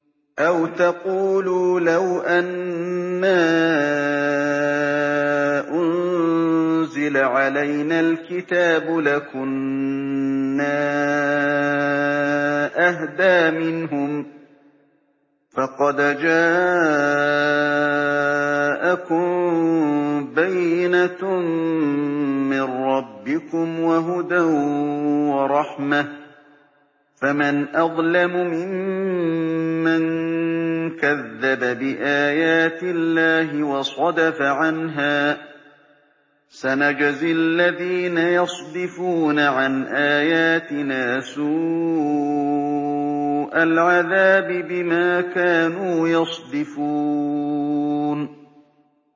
أَوْ تَقُولُوا لَوْ أَنَّا أُنزِلَ عَلَيْنَا الْكِتَابُ لَكُنَّا أَهْدَىٰ مِنْهُمْ ۚ فَقَدْ جَاءَكُم بَيِّنَةٌ مِّن رَّبِّكُمْ وَهُدًى وَرَحْمَةٌ ۚ فَمَنْ أَظْلَمُ مِمَّن كَذَّبَ بِآيَاتِ اللَّهِ وَصَدَفَ عَنْهَا ۗ سَنَجْزِي الَّذِينَ يَصْدِفُونَ عَنْ آيَاتِنَا سُوءَ الْعَذَابِ بِمَا كَانُوا يَصْدِفُونَ